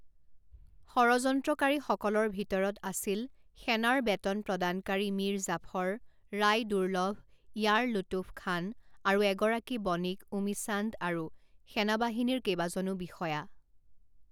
ষড়যন্ত্ৰকাৰীসকলৰ ভিতৰত আছিল সেনাৰ বেতন প্ৰদানকাৰী মিৰ জাফৰ, ৰায় দুৰ্লভ, য়াৰ লুতুফ খান আৰু এগৰাকী বণিক ওমিচান্দ আৰু সেনাবাহিনীৰ কেইবাজনো বিষয়া।